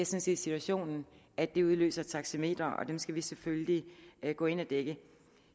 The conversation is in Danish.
set situationen at det udløser taxameter og det skal vi selvfølgelig gå ind og dække